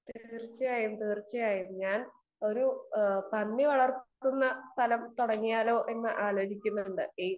speaker 2 തീർച്ചയായും തീർച്ചയായും ഒരു പന്നി വളർത്തുന്ന സ്ഥലം തുടങ്ങിയാലോ എന്ന് ആലോചിക്കുന്നുണ്ട്